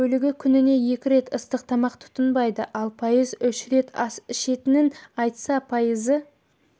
бөлігі күніне екі рет ыстық тамақ тұтынбайды ал пайызы үш рет ас ішетінін айтса пайызы